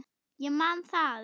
Ég man að